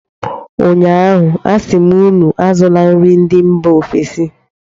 Ụnyaahụ, a sị m unu azụla nri ndị mba ofesi!